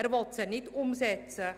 Er will sie nicht umsetzen.